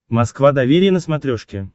москва доверие на смотрешке